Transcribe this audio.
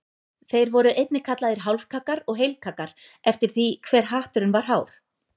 Þeir voru einnig kallaðir hálfkaggar og heilkaggar eftir því hve hatturinn var hár.